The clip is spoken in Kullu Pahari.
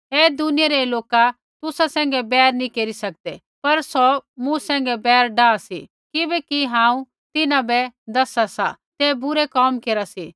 ऐ दुनिया रै लोका तुसा सैंघै बैर नैंई केरी सकदै पर सौ मूँ सैंघै बैर डाआ सा किबैकि हांऊँ तिन्हां बै दसा सा तै बुरै कोम केरा सी